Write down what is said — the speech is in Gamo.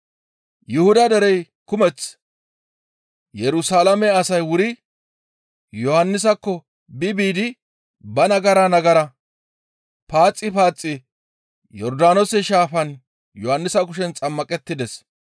Yuhuda derey kumeth Yerusalaame asay wuri Yohannisakko bi biidi ba nagara nagara paaxi paaxi Yordaanoose Shaafan Yohannisa kushen xammaqettides.